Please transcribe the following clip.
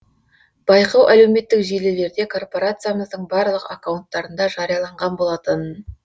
байқау әлеуметтік желілерде корпорациямыздың барлық аккаунттарында жарияланған болатын